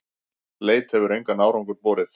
Leit hefur engan árangur borið.